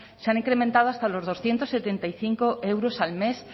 se han incrementado hasta los doscientos setenta y cinco euros al mes